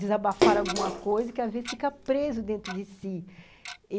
Desabafar alguma coisa que, às vezes, fica preso dentro de si.